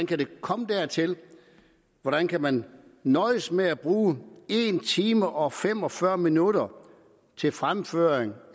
kan komme dertil hvordan kan man nøjes med at bruge en time og fem og fyrre minutter til fremførsel